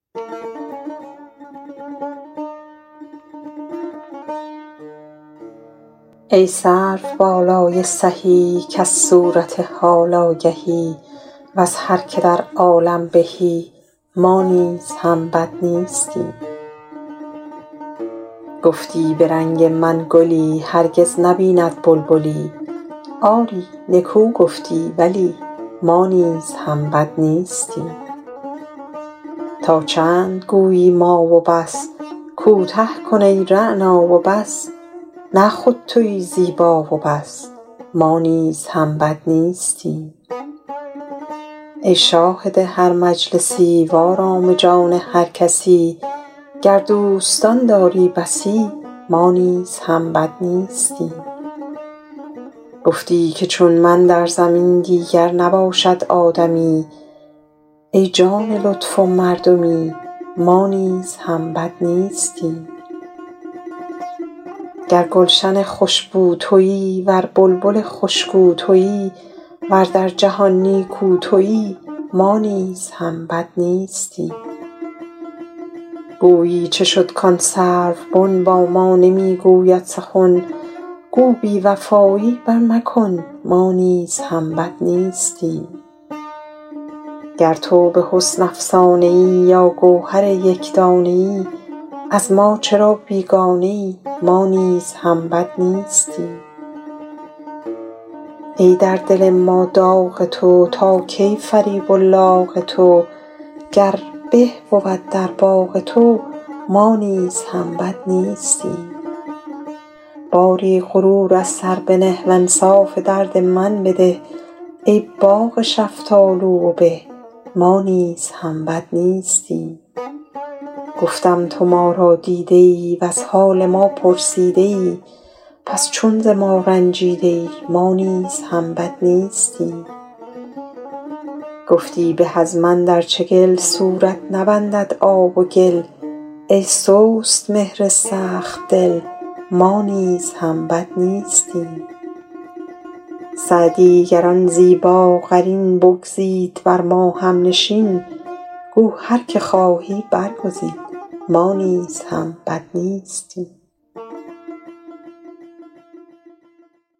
ای سروبالای سهی کز صورت حال آگهی وز هر که در عالم بهی ما نیز هم بد نیستیم گفتی به رنگ من گلی هرگز نبیند بلبلی آری نکو گفتی ولی ما نیز هم بد نیستیم تا چند گویی ما و بس کوته کن ای رعنا و بس نه خود تویی زیبا و بس ما نیز هم بد نیستیم ای شاهد هر مجلسی وآرام جان هر کسی گر دوستان داری بسی ما نیز هم بد نیستیم گفتی که چون من در زمی دیگر نباشد آدمی ای جان لطف و مردمی ما نیز هم بد نیستیم گر گلشن خوش بو تویی ور بلبل خوش گو تویی ور در جهان نیکو تویی ما نیز هم بد نیستیم گویی چه شد کآن سروبن با ما نمی گوید سخن گو بی وفایی پر مکن ما نیز هم بد نیستیم گر تو به حسن افسانه ای یا گوهر یک دانه ای از ما چرا بیگانه ای ما نیز هم بد نیستیم ای در دل ما داغ تو تا کی فریب و لاغ تو گر به بود در باغ تو ما نیز هم بد نیستیم باری غرور از سر بنه وانصاف درد من بده ای باغ شفتالو و به ما نیز هم بد نیستیم گفتم تو ما را دیده ای وز حال ما پرسیده ای پس چون ز ما رنجیده ای ما نیز هم بد نیستیم گفتی به از من در چگل صورت نبندد آب و گل ای سست مهر سخت دل ما نیز هم بد نیستیم سعدی گر آن زیباقرین بگزید بر ما هم نشین گو هر که خواهی برگزین ما نیز هم بد نیستیم